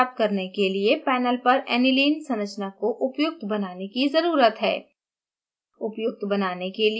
एक स्थिर रचना प्राप्त करने के लिए panel पर aniline संरचना को उपयुक्त बनाने की ज़रूरत है